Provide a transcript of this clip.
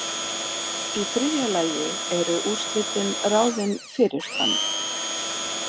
Í þriðja lagi eru úrslitin ráðin fyrirfram.